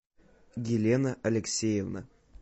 елена алексеевна